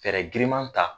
Fɛɛrɛ giriman ta